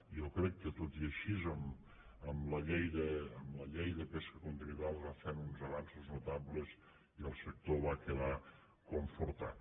jo crec que tot i així amb la llei de pesca continental es va fent uns avanços notables i el sector va quedar confortat